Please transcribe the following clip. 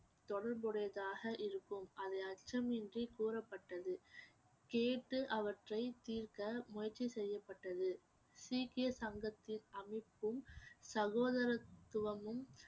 தொடர்புடையதாக இருக்கும் அதை அச்சமின்றி கூறப்பட்டது கேட்டு அவற்றை தீர்க்க முயற்சி செய்யப்பட்டது சீக்கிய சங்கத்தின் அமைப்பும் சகோதரத்துவமும்